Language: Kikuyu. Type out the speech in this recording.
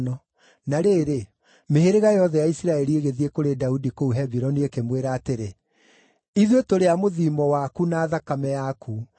Na rĩrĩ, mĩhĩrĩga yothe ya Isiraeli ĩgĩthiĩ kũrĩ Daudi kũu Hebironi ĩkĩmwĩra atĩrĩ, “Ithuĩ tũrĩ a mũthiimo waku na thakame yaku.